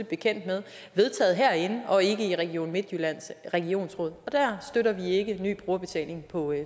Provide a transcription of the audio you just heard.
bekendt med vedtaget herinde og ikke i region midtjyllands regionsråd og her støtter vi ikke ny brugerbetaling på